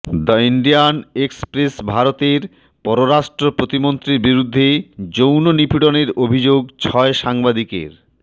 the Indian এক্সপ্রেসভারতের পররাষ্ট্র প্রতিমন্ত্রীর বিরুদ্ধে যৌন নিপীড়নের অভিযোগ ছয় সাংবাদিকের